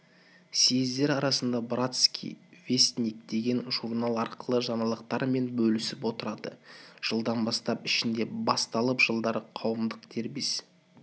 съездер арасында братский вестник деген журнал арқылы жаңалықтармен бөлісіп отырады жылдан бастап ішінде басталып жылдары қауымдық дербес